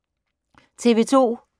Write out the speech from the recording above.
TV 2